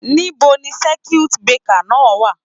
Níbo ni circuit breaker náà wà?